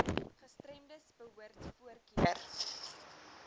gestremdes behoort voorkeur